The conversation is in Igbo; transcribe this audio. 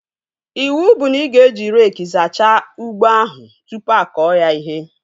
Iwu bụ na ị ga-eji reekị zachaa ugbo ahụ tụpụ akọ ya ihe!